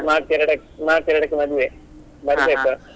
March ಎರಡಕ್ಕ್ March ಎರಡಕ್ಕೆ ಮದುವೆ ಬರ್ಬೇಕು?